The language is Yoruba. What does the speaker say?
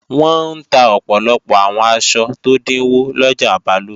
Wọ́n ń ta ọ̀pọ̀lọpọ̀ àwọn aṣọ tó dínwó lọjà Balógun